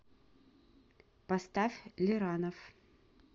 поставь лиранов